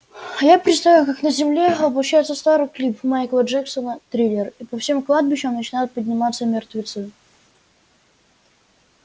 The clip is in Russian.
я представил как на земле воплощается старый клип майкла джексона триллер и по всем кладбищам начинают подниматься мертвецы